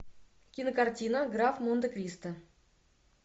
кинокартина граф монте кристо